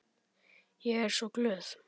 Ég er svo glöð.